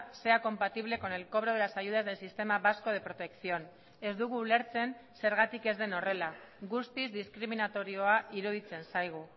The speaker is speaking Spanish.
sea compatible con el cobro de las ayudas del sistema vasco de protección ez dugu ulertzen zergatik ez den horrela guztiz diskriminatorioa iruditzen zaigu